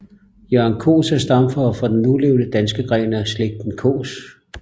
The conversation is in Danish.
Jørgen Kaas er stamfar for den nulevende danske gren af slægten Kaas